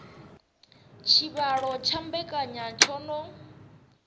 tshivhalo tsha mbekanya tsho no